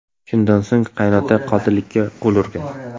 Shundan so‘ng qaynota qotillikka qo‘l urgan.